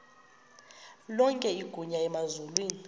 lonke igunya emazulwini